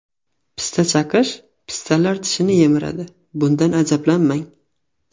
Pista chaqish Pistalar tishni yemiradi, bundan ajablanmang.